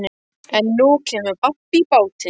En nú kemur babb í bátinn.